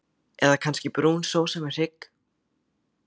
Eða kannski brún sósa með hrygg?